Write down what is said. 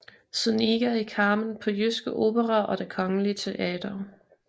Zuniga i Carmen på Jyske Opera og Det Kongelige Teater